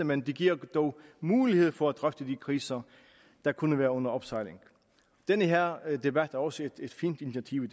men de giver dog mulighed for at drøfte de kriser der kunne være under opsejling den her debat er også et fint initiativ